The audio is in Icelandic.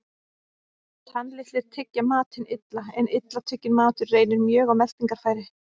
Tannlitlir tyggja matinn illa, en illa tugginn matur reynir mjög á meltingarfæri.